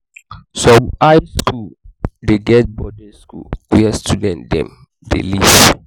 some high skool dey get boarding house where student dem dey live.